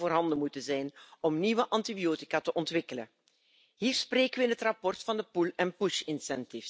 leisten kann und muss, diese Entwicklung zu bremsen oder gar zu stoppen, falls das noch möglich